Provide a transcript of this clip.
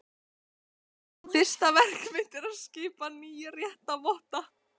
LÁRUS: Fyrsta verk mitt er að skipa nýja réttarvotta.